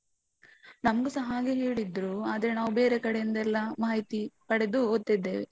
ನಮ್ಗುಸ ಹಾಗೆ ಹೇಳಿದ್ರು, ಆದ್ರೆ ನಾವು ಬೇರೆ ಕಡೆಯಿಂದ ಎಲ್ಲ ಮಾಹಿತಿ ಪಡೆದು ಓದ್ತಿದ್ದೇವೆ.